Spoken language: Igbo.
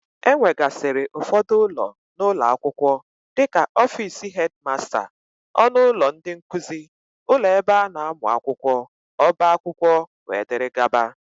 E nwegasịrị ụfọdụ ụlọ n'ụlọ akwụkwọ dịka ọfici hedmasta, ọnụ ụlọ ndị nkuzi, ụlọ ebe a na-amụ akwụkwọ, ọba akwụkwọ wdg.